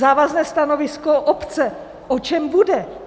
Závazné stanovisko obce o čem bude?